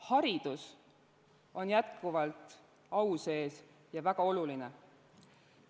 Haridus on jätkuvalt au sees ja väga oluline.